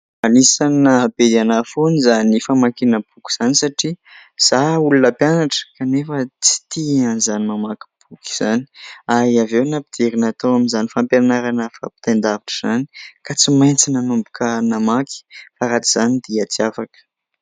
fanisanyahabedy anaha foany izany famankinaboky izany satria za olona mpianatra kanefa tsy tia an'izany mamakympoky izany ary avy eo nampiderynatao amin'izany fampianarana fa mpitain-davitra izany ka tsy maintsy nanomboka namaky faratr izany dia tsy afaka